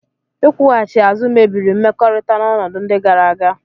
Ịkwụghachi azụ mebiri mmekọrịta n'ọnọdụ ndị gara aga